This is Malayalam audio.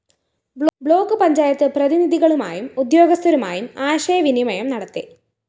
ബ്ലോക്ക്‌ പഞ്ചായത്ത് പ്രതിനിധികളുമായും ഉദ്യോഗസ്ഥരുമായും ആശയവിനിമയം നടത്തി